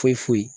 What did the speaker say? Foyi foyi